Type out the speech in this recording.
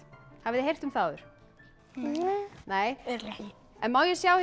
hafið þið heyrt um það áður nei má ég sjá